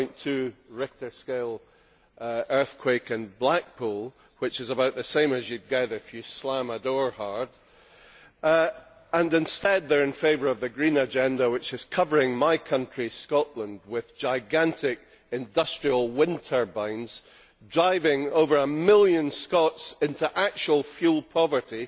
1.2 Richter scale earthquake in Blackpool which is about the same you would get if you slam a door hard, and instead they are in favour of the green agenda which is covering my country, Scotland, with gigantic industrial wind turbines, driving over a million Scots into actual fuel poverty,